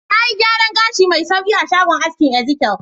Na yi gyaran gashi mai sauƙi a shagon askinEzekiel.